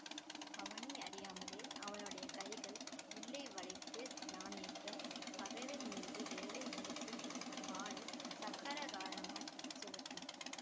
அவனையறியாமலே அவனுடைய கைகள் வில்லை வளைத்து நாணேற்றும் பகைவர் மீது வேலை வீசும் வாளை சக்கராகாரமாய்ச் சுழற்றும்